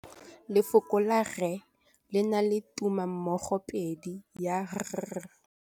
Lefoko la rre, le na le tumammogôpedi ya, r.